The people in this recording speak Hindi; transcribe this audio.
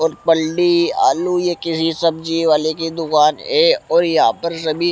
और पंडी आलू ये किसी सब्जी वाले की दुकान है और यहां पर सभी--